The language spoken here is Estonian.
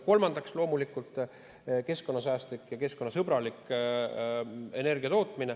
Kolmandaks, loomulikult keskkonnasäästlik ja keskkonnasõbralik energiatootmine.